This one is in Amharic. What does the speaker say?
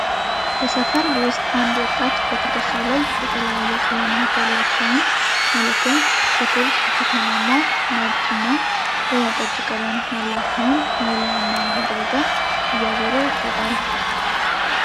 በሰፈር ውስጥ አንድ ወጣት በትከሻው ላይ የተለያየ ቀለማት ያላቸውን ማለትም ጥቁር፣ ብርቱካናማ፣ ነጭ እና ወይነ ጠጅ ቀለም ያላቸውን መወልወያ እና መጥረጊያ እያዞረ ይሸጣል።